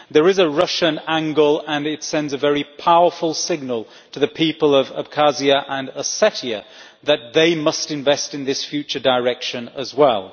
There is a Russian angle and it sends a very powerful signal to the people of Abkhazia and Ossetia that they must invest in this future direction as well.